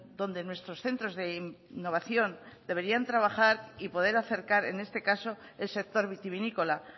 donde nuestros centros de innovación deberían trabajar y poder acercar en este caso el sector vitivinícola